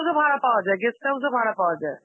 ভাড়া পাওয়া যায়, guest house ও ভাড়া পাওয়া যায়.